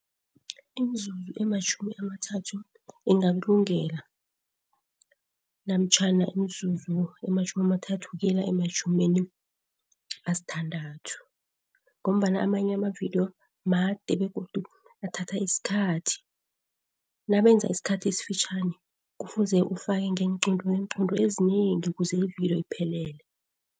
Imizuzu ematjhumi amathathu ingakulungela, namtjhana imizuzu ematjhumi amathathu ukuyela ematjhumini asithandathu ngombana amanye amavidiyo made begodu athatha isikhathi. Nabenza isikhathi esifitjhani kufuze ufake ngeenqunto neenqunto ezinengi ukuze ividiyo iphelele.